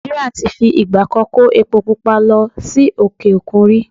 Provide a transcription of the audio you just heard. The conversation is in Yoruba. Nà̀ìjíríà ti fi ìgbà kan kó epo pupa lọ sí òkè-òkun rí.